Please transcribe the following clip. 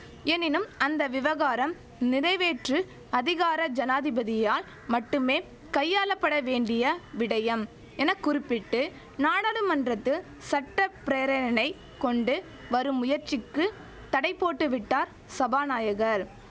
எனினும் அந்த விவகாரம் நிறைவேற்று அதிகார ஜனாதிபதியால் மட்டுமே கையாளப்படவேண்டிய விடயம் என குறுப்பிட்டு நாடாளுமன்றத்து சட்ட பிரேரணை கொண்டு வரும் முயற்சிக்கு தடைபோட்டுவிட்டார் சபாநாயகர்